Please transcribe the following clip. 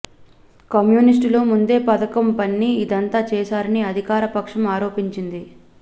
కమ్యూనిస్టులు ముందే పథకం పన్ని ఇదంతా చేశారని అధికార పక్షం ఆరోపించింది